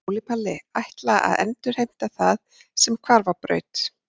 Óli Palli: Ætla að endurheimta það sem hvarf á braut